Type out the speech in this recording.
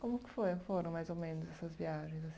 Como que foi foram mais ou menos essas viagens?